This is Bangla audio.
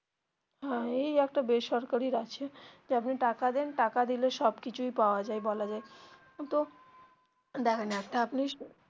হ্যা এই একটা বেসরকারির আছে যে আপনি টাকা দেন টাকা দিলে সব কিছুই পাওয়া যায় বলা যায় দেখেন একটা আপনি.